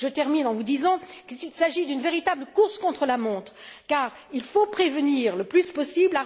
Je termine en vous disant qu'il s'agit d'une véritable course contre la montre, car il faut prévenir le plus possible.